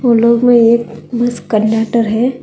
उन लोगों में एक बस कंडक्टर है।